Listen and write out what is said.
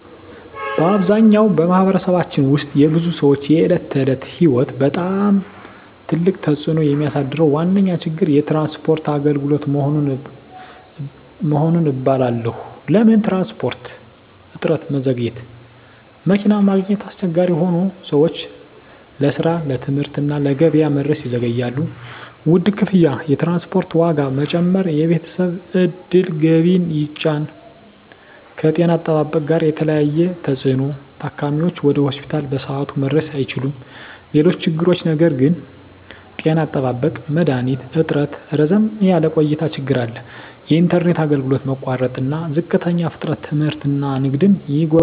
በአብዛኛው በማኅበረሰባችን ውስጥ የብዙ ሰዎች የዕለት ተዕለት ሕይወት ላይ በጣም ትልቅ ተፅዕኖ የሚያሳድረው ዋነኛ ችግር የትራንስፖርት አገልግሎት መሆኑን እባላለሁ። ለምን ትራንስፖርት? እጥረትና መዘግየት መኪና ማግኘት አስቸጋሪ ሆኖ ሰዎች ለስራ፣ ለትምህርት እና ለገበያ መድረስ ይዘገያሉ። ውድ ክፍያ የትራንስፖርት ዋጋ መጨመር የቤተሰብ ዕድል ገቢን ይጫን። ከጤና አጠባበቅ ጋር የተያያዘ ተፅዕኖ ታካሚዎች ወደ ሆስፒታል በሰዓቱ መድረስ አይችሉም። ሌሎች ችግሮች ነገር ግን… ጤና አጠባበቅ መድሀኒት እጥረትና ረዘም ያለ ቆይታ ችግር አለ። የኢንተርኔት አገልግሎት መቋረጥና ዝቅተኛ ፍጥነት ትምህርትና ንግድን ይጎዳል።